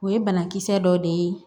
O ye banakisɛ dɔ de ye